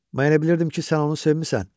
Mən bilirdim ki, sən onu sevmisən.